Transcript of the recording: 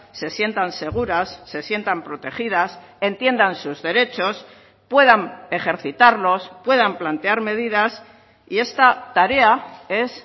se sientan seguras se sientan protegidas entiendan sus derechos puedan ejercitarlos puedan plantear medidas y esta tarea es